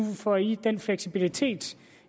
får de den fleksibilitet